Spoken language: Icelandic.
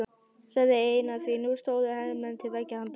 sagði Einar því nú stóðu hermenn til beggja handa.